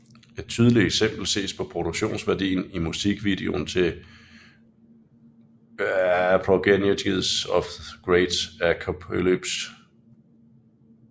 Et tydeligt eksempel ses på produktionsværdien i musikvideon til Progenies of the Great Apocalypse